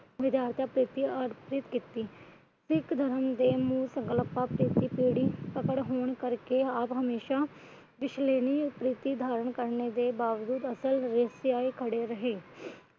ਵਿਧਾਰਤਾ ਕਰਕੇ ਅਰਪਿਤ ਕੀਤੀ। ਸਿੱਖ ਧਰਮ ਦੇ ਸੰਕਲਪ ਆਪ ਹਮੇਸ਼ਾ ਧਾਰਨ ਕਰਨ ਦੇ ਬਾਵਜੂਦ ਖੜੇ ਰਹੇ।